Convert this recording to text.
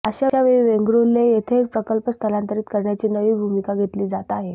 अशा वेळी वेंगुल्रे येथे प्रकल्प स्थलांतरित करण्याची नवी भूमिका घेतली जात आहे